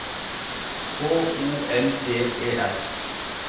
H O L D E R